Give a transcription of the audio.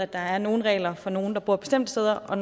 der er nogle regler for nogle der bor bestemte steder og